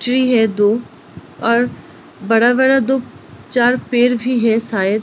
tree है दो और बड़ा-बड़ा दो-चार पेड़ भी हैं शायद |